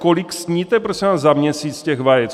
Kolik sníte, prosím vás, za měsíc těch vajec?